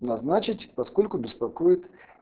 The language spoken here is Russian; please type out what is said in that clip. назначить поскольку беспокоит